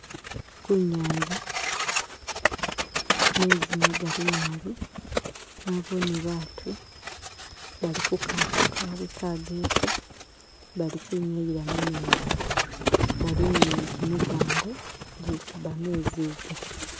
Kunyanza meezi magali naabi nabone baatu bali kukato kawa kageke bali kwinyayila mumezi bali ni gimigango gikuba meezi ga.